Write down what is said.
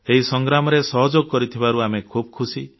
ଏହି ସଂଗ୍ରାମରେ ସହଯୋଗ କରୁଥିବାରୁ ଆମେ ଖୁସି